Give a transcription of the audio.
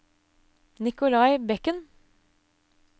Nicolai Bekken